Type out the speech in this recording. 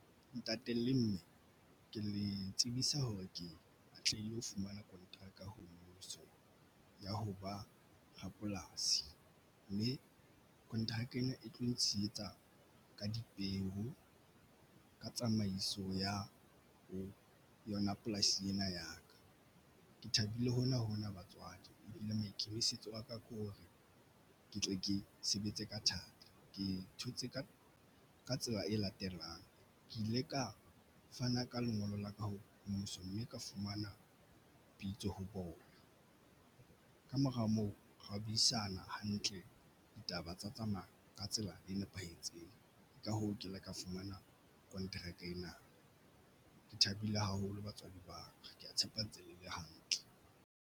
Ntate le mme ke le tsebisa hore ke atlehile ho fumana konteraka ho mmuso ya ho ba rapolasi mme kontraka ena e tlo ntshehetsa ka dipeo ka tsamaiso ya ho yona polasi ena ya ka ke thabile hona hona batswadi e bile maikemisetso a ka ke hore ke tle ke sebetse ka thata, ke thotse ka ka tsela e latelang ke ile ka fana ka lengolo la ka ho mmuso mme ka fumana bitso ho bona. Kamora moo eat buisana hantle ke ditaba tsa tsamaya ka tsela e nepahetseng, ka hoo ke ile ka fumana kontraka ena ke thabile haholo batswadi ba ke ya tshepa ntse le le hantle.